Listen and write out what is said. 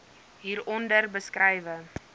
hier onder beskrywe